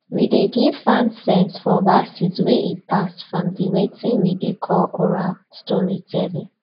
we dey give farm sense for verses wey e pass from the weting we dey call oral storytelling